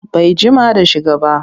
Bai jima da shiga ba